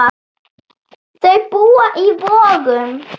Þau búa í Vogum.